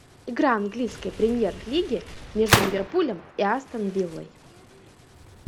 игра английской премьер лиги между ливерпулем и астон виллой